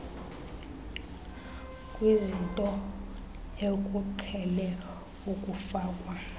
kwizinto ekuqhele ukufakwa